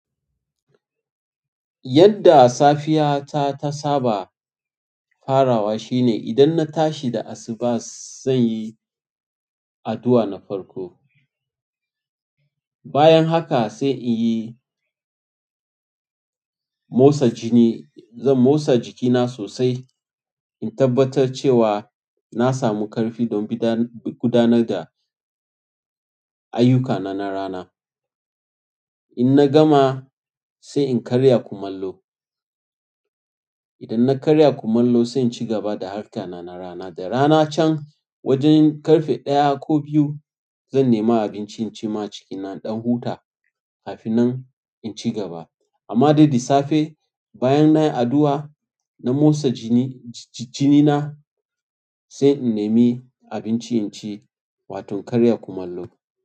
Yadda safiya ta ta saba farawa shine idan na tashi da asuba, zan yi addu'a na farko. Bayan haka sai in yi motsa jini. Zan motsa jikina sosai in tabbatar cewa na samu ƙarfi don bi gudanar da ayyukana na rana. In na gama, sai in karya kumallo. Idan na karya kumallo, sai in ci gaba da harkana na rana. Da rana can wajen ƙarfe ɗaya ko biyu, zan nema abinci in ci ma cikina ɗan huta kafin in ci gaba. Amma dai da safe bayan nayi addu'a na motsa jini na sai in nemi abinci inci wato karya kumallo.